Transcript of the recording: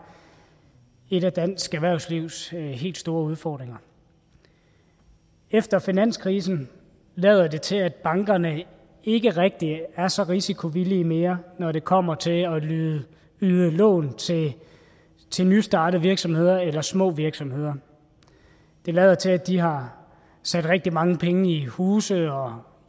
et af dansk erhvervslivs helt store udfordringer efter finanskrisen lader det til at bankerne ikke rigtig er så risikovillige mere når det kommer til at yde lån til nystartede virksomheder eller små virksomheder det lader til at de har sat rigtig mange penge i huse og